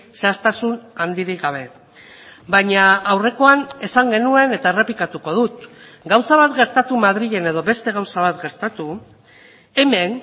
zehaztasun handirik gabe baina aurrekoan esan genuen eta errepikatuko dut gauza bat gertatu madrilen edo beste gauza bat gertatu hemen